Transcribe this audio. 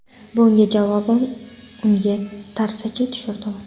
Bunga javoban unga tarsaki tushirdim.